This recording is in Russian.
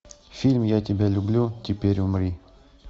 фильм я тебя люблю теперь умри